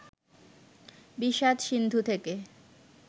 বিষাদ-সিন্ধু থেকে